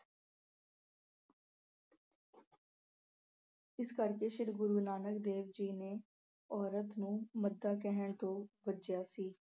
ਇਸ ਲਈ ਸ੍ਰੀ ਗੁਰੂ ਨਾਨਕ ਦੇਵ ਜੀ ਨੇ ਔਰਤ ਨੂੰ ਮੰਦਾ ਕਹਿਣ ਤੋਂ ਵਰਜਿਆ ਸੀ।